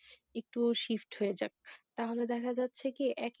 তাহলে দেখা যাচ্ছে কি এক